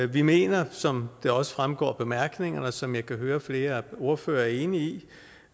vi mener som det også fremgår af bemærkningerne og som jeg kan høre flere ordførere er enige